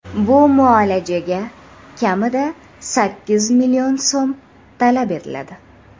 Bu muolajaga kamida sakkiz million so‘m talab etiladi.